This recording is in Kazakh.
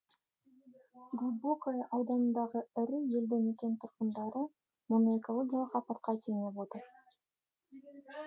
глубокое ауданындағы ірі елді мекен тұрғындары мұны экологиялық апатқа теңеп отыр